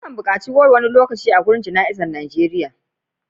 ana kan bukaci goro wani lokaci a gurin Jana'za a Najeriya